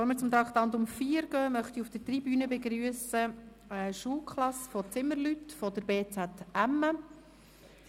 Bevor wir zum Traktandum 4 übergehen, möchte ich auf der Tribüne eine Schulklasse von Zimmerleuten des Bildungszentrums Emme (bz emme) begrüssen.